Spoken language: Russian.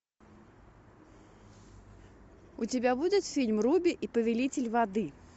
у тебя будет фильм руби и повелитель воды